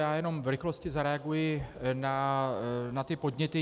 Já jenom v rychlosti zareaguji na ty podněty.